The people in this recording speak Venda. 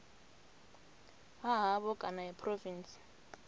ha havho kana ya phurovintsi